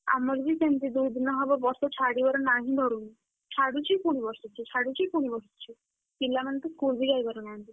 ଆମର ବି ସେମିତି ଦୁଇଦିନ ହବ ବର୍ଷା ଛାଡିବାର ନା ହିଁ ଧରୁନି। ଛାଡ଼ୁଛି ପୁଣି ବର୍ଷୁଛି ଛାଡ଼ୁଛି ପୁଣି ବର୍ଷୁଛି। ପିଲାମାନେ ତ school ବି ଯାଇପାରୁନାହାନ୍ତି।